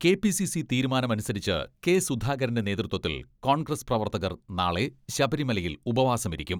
KPCC തീരുമാനമുസരിച്ച് കെ.സുധാകരന്റെ നേതൃത്വത്തിൽ കോൺഗ്രസ് പ്രവർത്തകർ നാളെ ശബരിമലയിൽ ഉപവാസമിരിക്കും.